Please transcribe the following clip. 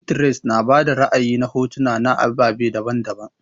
Pinterest na bada ra'ayi na hotuna na ababe daban-daban.